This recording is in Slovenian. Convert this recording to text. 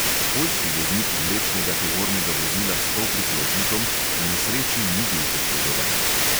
Poljski voznik vlečnega tovornega vozila s polpriklopnikom v nesreči ni bil poškodovan.